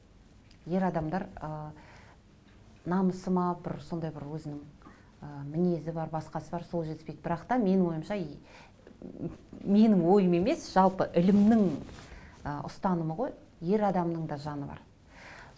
ер адамдар ы намысы ма бір сондай бір өзінің ы мінезі бар басқасы бар сол жетіспейді бірақ та менің ойымша менің ойым емес жалпы ілімнің ы ұстанымы ғой ер адамның да жаны бар